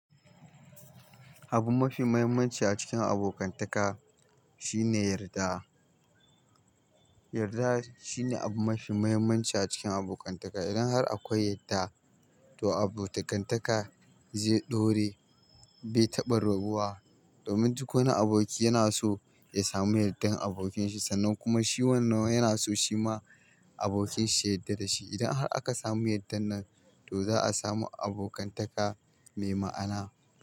Abu mafi muhimmanci a cikin abokantaka shine yarda. Yarda shine abu mafi muhimmanci a cikin abokantaka. Idan har akwai yadda, to abokantaka zai ɗore bai taɓa rabuwa domin duk wani aboki yana so ya samu yardan abokinsa nan kuma shi wannan yana so shi ma abokinsa ya yarda da shi. Idan har aka samu yardar nan, to za a samu abokantaka mai ma'ana.